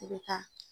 I bɛ taa